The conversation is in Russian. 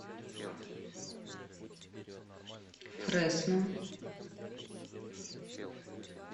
фресно